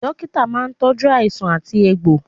Dókítà máa ń tọju àìsàn àti egbò